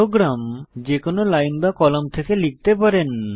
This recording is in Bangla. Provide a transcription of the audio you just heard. প্রোগ্রাম যে কোনো লাইন বা কলাম থেকে লিখতে পারেন